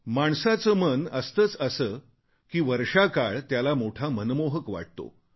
माणसाचे मन असे असते की वर्षाकाळ त्याला मोठा मनमोहक वाटतो